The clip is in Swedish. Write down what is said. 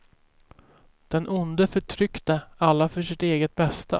Den onde förtryckte alla för sitt eget bästa.